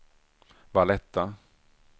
Valletta